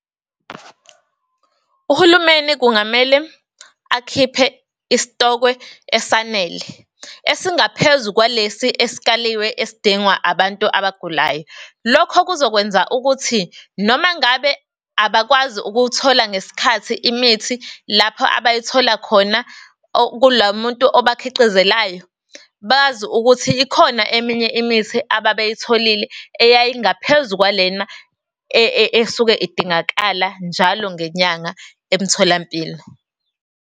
Uhulumeni kungamele akhiphe isitokwe esanele, esingaphezu kwalesi esikaliwe esidingwa abantu abagulayo. Lokho kuzokwenza ukuthi noma ngabe abakwazi ukuwuthola ngesikhathi imithi lapho abayithola khona kulo muntu obakhiqizelayo, bazi ukuthi ikhona eminye imithi ababeyitholile eyayingaphezu kwalena esuke idingakala njalo ngenyanga emtholampilo.